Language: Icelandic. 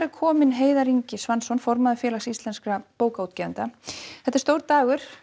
kominn Heiðar Ingi Svansson formaður Félags íslenskra bókaútgefenda stór dagur